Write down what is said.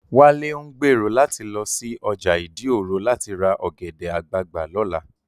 Wálé ń gbèrò láti lọ sí ọjà ìdí òro láti ra ọ̀gẹ̀dẹ̀ àgbagbà lọ́la